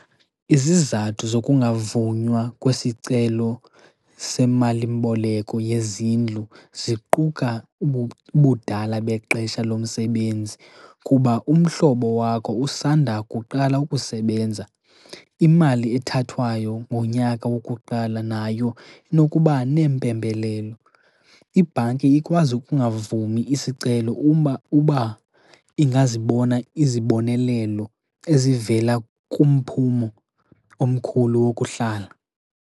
Izizathu zokungavunywa kwesicelo semalimboleko yezindlu ziquka ubudala bexesha lomsebenzi, kuba umhlobo wakho usandakuqala ukusebenza. Imali ethathwayo ngonyaka wokuqala nayo inokuba neempembelelo. Ibhanki ikwazi ukungavumi isicelo, uba ingazibona izibonelelo ezivela kumphumo omkhulu wokuhlala.